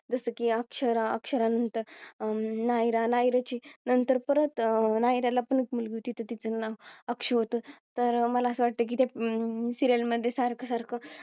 जसं की अक्षरा, अक्षरा नंतर नायरा अं नायराची नंतर परत नायरला पण एक मुलगी होती. तिचे नाव अक्षु होतं तर मला असं वाटतं की अं त्या Serial मध्ये सारखं सारखं